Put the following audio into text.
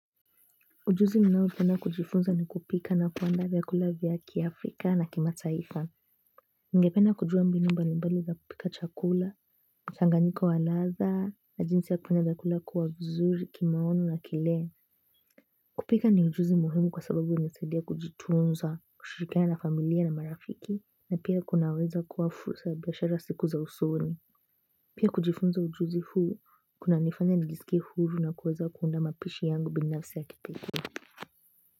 Ujuzi ninaopenda kujifunza ni kupika na kuandaa vyakula vya kiafrika na kimataifa ningependa kujua mbinu mbalimbali za kupika chakula, mchanganyiko wa ladha, na jinsi ya kufanya vyakula kuwa vizuri kimaono na kile kupika ni ujuzi muhimu kwa sababu inanisaidia kujitunza, kushirikiana na familia na marafiki na pia kunaweza kuwa fursa biashara siku za usoni pia kujifunza ujuzi huu, kunanifanya nijisikie huru na kuweza kuunda mapishi yangu binafsi ya kipekee.